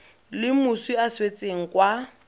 le moswi a swetseng kwa